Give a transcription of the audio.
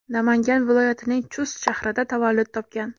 Namangan viloyatining Chust shahrida tavallud topgan.